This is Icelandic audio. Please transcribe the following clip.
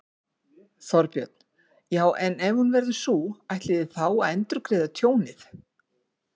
Þorbjörn: Já, en ef hún verður sú, ætlið þið þá að endurgreiða tjónið?